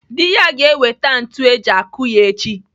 Dị ya ga-ewete ntu eji akụ ya echi.